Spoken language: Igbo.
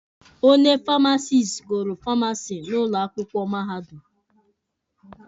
Onye famasisti gụrụ Famasi n'ụlọ akwụkwọ Mahadum.